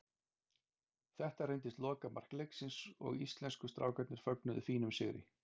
Þetta reyndist lokamark leiksins og íslensku strákarnir fögnuðu fínum sigri.